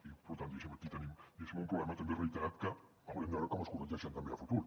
i per tant diguéssim aquí tenim un problema també reiterat que haurem de veure com es corregeix també a futur